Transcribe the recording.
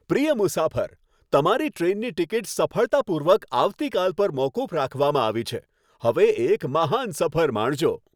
પ્રિય મુસાફર, તમારી ટ્રેનની ટિકિટ સફળતાપૂર્વક આવતીકાલ પર મોકૂફ રાખવામાં આવી છે. હવે એક મહાન સફર માણજો.